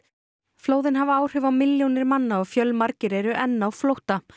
flóðin hafa áhrif á milljónir manna og fjölmargir eru enn á flótta